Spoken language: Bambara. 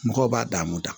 Mɔgɔw b'a dan moda